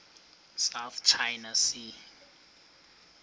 south china sea